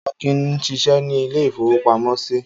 Akin ń ṣiṣẹ́ ní ilé-ìfowópamọ́sí.